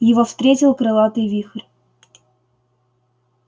его встретил крылатый вихрь